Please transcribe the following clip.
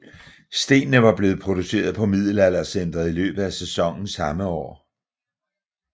Stenene var blevet produceret på Middelaldercentret i løbet af sæsonen samme år